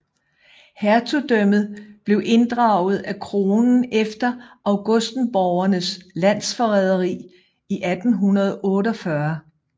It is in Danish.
Hertugdømmet blev inddraget af kronen efter augustenborgernes landsforræderi i 1848